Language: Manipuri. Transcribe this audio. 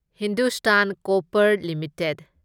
Hindustan Copper limited